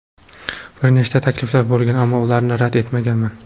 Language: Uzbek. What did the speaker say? Bir nechta takliflar bo‘lgan, ammo ularni rad etganman.